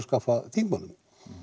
skaffa þingmönnum